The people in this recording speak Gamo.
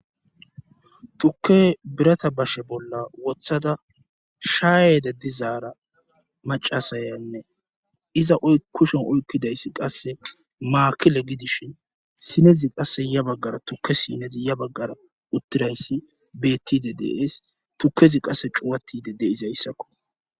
tukke birata bashe bolla wothada shaayede dizaara macasayannee iza kushen oykkidayssi qasse maakile gidishin sinezi qasse ya baggara tukke sineti ya baggara uttirayssi bettide dee'es tukezi qasse cuwatide de'izayssakko